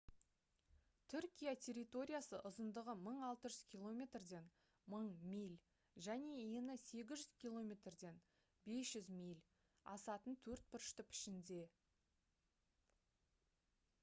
түркия территориясы ұзындығы 1600 км-ден 1000 миль және ені 800 км-ден 500 миль асатын төртбұрышты пішінде